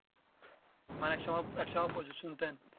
মানে এক সময় এক সময় প্রচুর শুনতেন